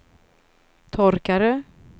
torkare